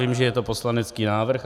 Vím, že je to poslanecký návrh.